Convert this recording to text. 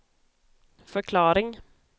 förklaring